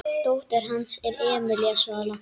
Dóttir hans er Emelía Svala.